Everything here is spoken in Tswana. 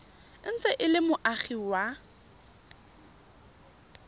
ntse e le moagi wa